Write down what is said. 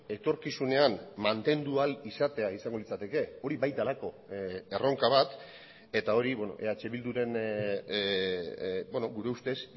etorkizunean mantendu ahal izatea izango litzateke hori bai delako erronka bat eta hori eh bilduren gure ustez